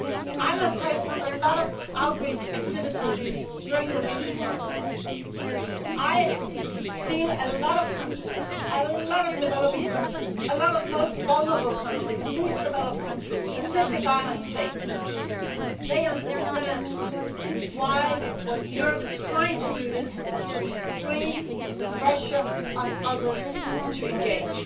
I must say that, from a lot of outreach activities in recent months, I feel that a lot of countries a lot of developing countries, a lot of the most vulnerable countries, the least developed countries, Pacific island states understand what Europe is trying to do is increase pressure on others to engage.